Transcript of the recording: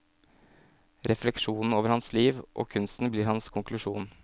Refleksjonen over hans liv, og kunsten, blir hans konklusjon.